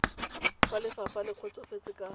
fa lefapha le kgotsofetse ka